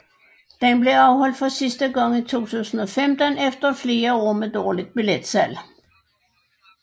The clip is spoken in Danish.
Den blev afholdt for sidste gange i 2015 efter flere år med dårligt billetslag